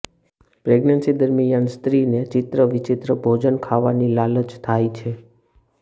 pregnancy દરમિયાન સ્ત્રીને ચિત્ર વિચિત્ર ભોજન ખાવાની લાલચ થાય છે